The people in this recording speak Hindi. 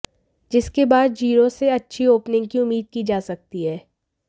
जिसके बाद जीरो से अच्छी ओपनिंग की उम्मीद की जा सकती है